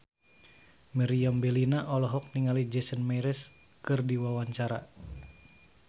Meriam Bellina olohok ningali Jason Mraz keur diwawancara